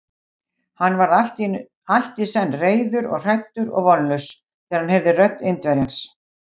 Hann varð allt í senn reiður og hræddur og vonlaus, þegar hann heyrði rödd Indverjans.